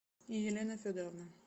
елена федоровна